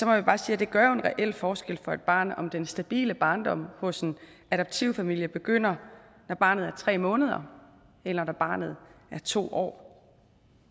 jeg bare sige at det gør en reel forskel for et barn om den stabile barndom hos en adoptivfamilie begynder når barnet er tre måneder eller når barnet er to år